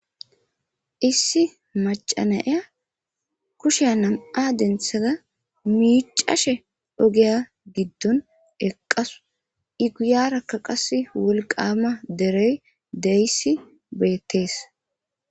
Issi macanaya kushya nam'a denthada miicashe ogeya giddon eqqasu iguyarakka qas wolqaama derey deyssi beettees